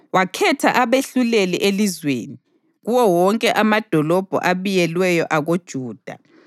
Wakhetha abehluleli elizweni, kuwo wonke amadolobho abiyelweyo akoJuda.